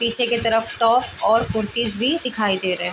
पीछे के तरफ टॉप और कुर्तीस भी दिखाई दे रहै है ।